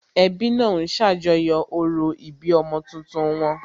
Ẹbí náà ń ṣàjọyọ̀ orò ìbí ọmọ tuntun wọn